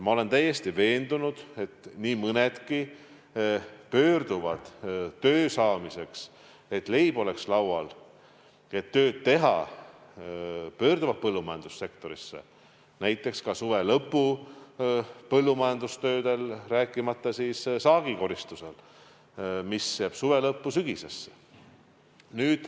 Ma olen täiesti veendunud, et nii mõnedki pöörduvad töö saamiseks, et leib oleks laual, põllumajandussektorisse, näiteks suve lõpu töödele, rääkimata saagikoristuse ajast, mis jääb suve lõppu ja sügisesse.